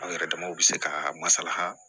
Anw yɛrɛ damaw bɛ se ka masala